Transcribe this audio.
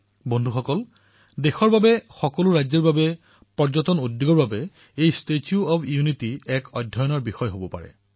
বন্ধুসকল দেশৰ বাবে সকলো ৰাজ্যৰ বাবে পৰ্যটন উদ্যোগৰ বাবে এই ষ্টেচু অব্ ইউনিটী এক অধ্যয়নৰ বিষয় হৈ উঠিব পাৰে